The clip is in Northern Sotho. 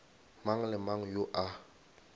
mang le mang yo a